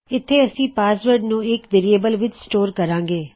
ਇੱਥੇ ਅਸੀਂ ਪਾਸਵਰਡ ਨੂੰ ਇਕ ਵੇਅਰਿਏਬਲ ਵਿੱਚ ਸਟੋਰ ਕਰਾਂਗੇ